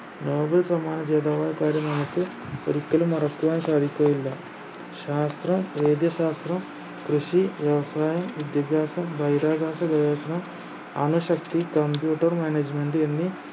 Nobel സമ്മാന ജേതാവായ കാര്യം നമുക്ക് ഒരിക്കലും മറക്കുവാൻ സാധിക്കുകയില്ല ശാസ്ത്രം വൈദ്യശാസ്ത്രം കൃഷി offline വിദ്യാഭ്യാസം ബഹിരാകാശ ഗവേഷണം അണുശക്തി computer management എന്നീ